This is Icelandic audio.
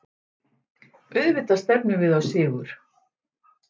Auðvitað stefnum við á sigur